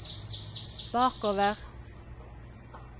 bakover